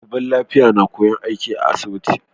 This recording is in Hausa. Daliban lafiya na koyan aiki a asibiti